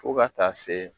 Fo ka taa se